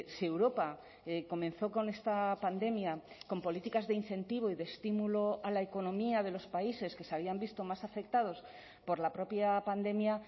si europa comenzó con esta pandemia con políticas de incentivo y de estímulo a la economía de los países que se habían visto más afectados por la propia pandemia